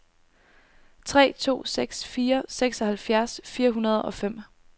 tre to seks fire seksoghalvfjerds fire hundrede og fem